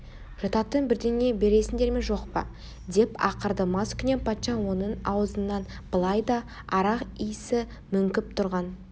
жұтатын бірдеңе бересіңдер ме жоқ па деп ақырды маскүнем патша оның аузынан былай да арақ исі мүңкіп тұрған